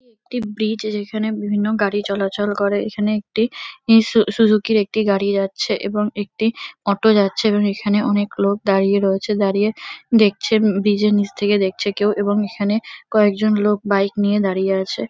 এটি একটি ব্রীজ যেখানে বিভিন্ন গাড়ি চলাচল করে এখানে একটি ইস সুজুকি -র একটি গাড়ি যাচ্ছে এবং একটি অটো যাচ্ছে এবং এখানে অনেক লোক দাঁড়িয়ে রয়েছে দাঁড়িয়ে দেখছে ব্রীজ -এর নীচে থেকে দেখছে কেউ এবং এখানে কয়েকজন লোক বাইক নিয়ে দাঁড়িয়ে আছে।